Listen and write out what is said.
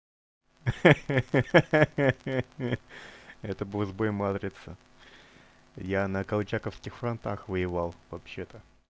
ха-ха это был сбой матрицы я на колчаковских фронтах воевал вообще-то